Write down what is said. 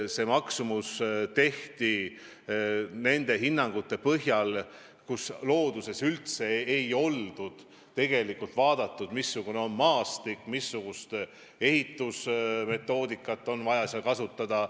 See maksumus arvutati selliste hinnangute põhjal, kus looduses ei oldud üldse vaadatud, missugune on maastik, missugust ehitusmetoodikat on vaja kasutada.